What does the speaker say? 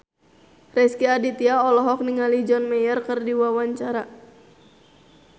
Rezky Aditya olohok ningali John Mayer keur diwawancara